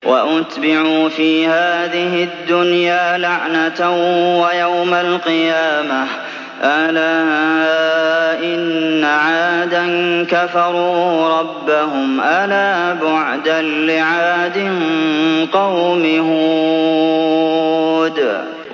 وَأُتْبِعُوا فِي هَٰذِهِ الدُّنْيَا لَعْنَةً وَيَوْمَ الْقِيَامَةِ ۗ أَلَا إِنَّ عَادًا كَفَرُوا رَبَّهُمْ ۗ أَلَا بُعْدًا لِّعَادٍ قَوْمِ هُودٍ